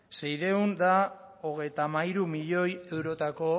seiehun eta hogeita hamairu milioi eurotako